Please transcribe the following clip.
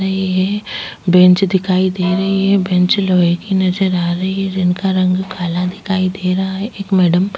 नहीं है बेंच दिखाई दे रही है बेंच लोहे की नज़र आ रही है जिनका रंग काला दिखाई दे रहा है एक मैडम --